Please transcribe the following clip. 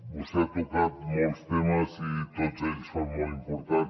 vostè ha tocat molts temes i tots ells són molt importants